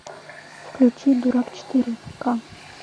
включи дурак четыре к